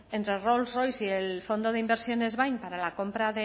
entre rolls royce y el fondo de inversiones bain para la compra